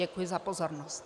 Děkuji za pozornost.